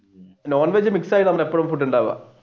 non veg mix ആയിട്ടാണ് എപ്പഴും food ഉണ്ടാവുക